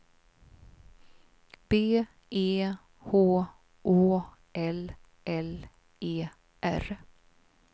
B E H Å L L E R